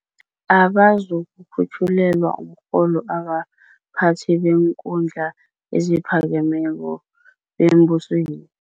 abazukukhut jhulelwa umrholo abaphathi beenkhundla eziphakemeko bembusweni.